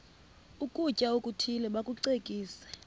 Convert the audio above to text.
ukutya okuthile bakucekise